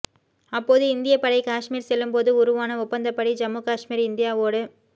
அப்போது இந்திய படை காஷ்மீர் செல்லும்போது உருவான ஒப்பந்தப்படி ஜம்மு காஷ்மீர் இந்தியாவோடு